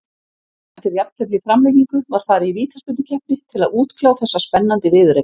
Eftir jafntefli í framlengingu var farið í vítaspyrnukeppni til að útkljá þessa spennandi viðureign.